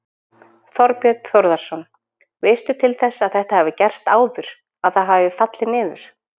Þorbjörn Þórðarson: Veistu til þess að þetta hafi gerst áður, að það hafi fallið niður?